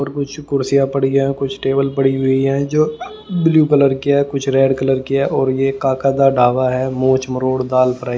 और कुछ कुर्सियां पड़ी है कुछ टेबल पड़ी हुई है जो ब्लू कलर की है कुछ रेड कलर की है और ये काका ढाबा है मोछ मरोड़ दाल फ्राई --